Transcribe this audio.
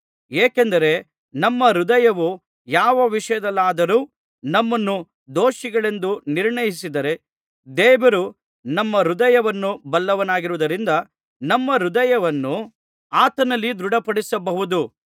ಏಕೆಂದರೆ ನಮ್ಮ ಹೃದಯವು ಯಾವ ವಿಷಯದಲ್ಲಾದರು ನಮ್ಮನ್ನು ದೋಷಿಗಳೆಂದು ನಿರ್ಣಯಿಸಿದರೆ ದೇವರು ನಮ್ಮ ಹೃದಯವನ್ನು ಬಲ್ಲವನಾಗಿರುವುದರಿಂದ ನಮ್ಮ ಹೃದಯವನ್ನು ಆತನಲ್ಲಿ ದೃಢಪಡಿಸಬಹುದು